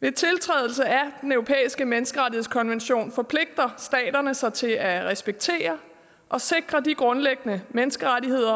ved tiltrædelse af den europæiske menneskerettighedskonvention forpligter staterne sig til at respektere og sikre de grundlæggende menneskerettigheder